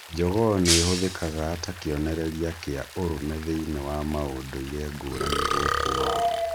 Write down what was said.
Njogoo nĩ ihũthĩkaga ta kĩonereria kĩa ũrũme thĩiniĩ wa maũndũire ngũrani gũkũ thĩĩ